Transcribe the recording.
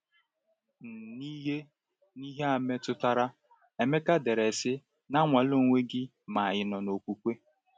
N’ihe N’ihe a metụtara, Emeka dere sị: “Na-anwale onwe gị ma ị nọ n’okwukwe.”